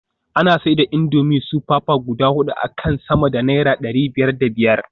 Ana siyar da indomie super pack guda hudu akan sama da naira dari biyar da biyar